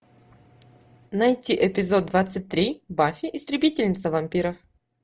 найти эпизод двадцать три баффи истребительница вампиров